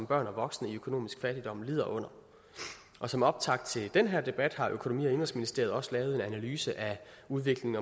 børn og voksne i økonomisk fattigdom lider under og som optakt til den her debat har økonomi og indenrigsministeriet også lavet en analyse af udviklingen